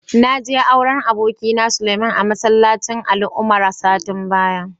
Na je auren abokina, Suleiman a masallacin Ali Umar satin baya.